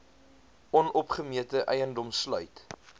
onopgemete eiendom sluit